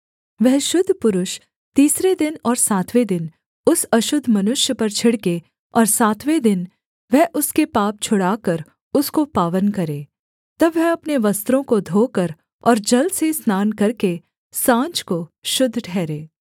वह शुद्ध पुरुष तीसरे दिन और सातवें दिन उस अशुद्ध मनुष्य पर छिड़के और सातवें दिन वह उसके पाप छुड़ाकर उसको पावन करे तब वह अपने वस्त्रों को धोकर और जल से स्नान करके साँझ को शुद्ध ठहरे